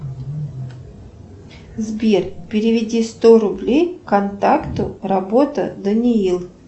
сбер переведи сто рублей контакту работа даниил